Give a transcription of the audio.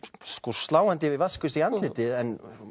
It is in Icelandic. sláandi vatnsgusa í andlitið en